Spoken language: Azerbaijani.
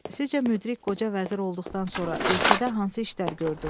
Sizcə müdrik qoca vəzir olduqdan sonra ölkədə hansı işlər gördü?